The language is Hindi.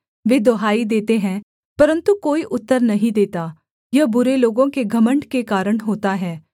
वे दुहाई देते हैं परन्तु कोई उत्तर नहीं देता यह बुरे लोगों के घमण्ड के कारण होता है